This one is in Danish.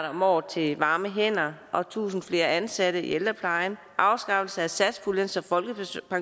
om året til varme hænder tusind flere ansatte i ældreplejen afskaffelse af satspuljen så